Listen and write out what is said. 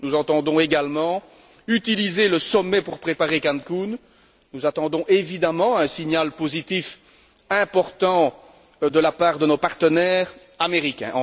Nous entendons également utiliser le sommet pour préparer Cancun, nous attendons évidemment un signal positif important de la part de nos partenaires américains.